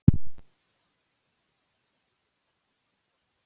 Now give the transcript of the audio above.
Valka, hvað er á dagatalinu mínu í dag?